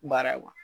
Baara ye